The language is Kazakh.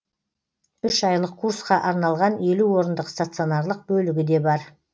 үш айлық курсқа арналған елу орындық станционарлық бөлігі де бар